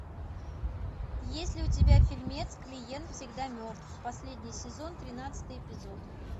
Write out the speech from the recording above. есть ли у тебя фильмец клиент всегда мертв последний сезон тринадцатый эпизод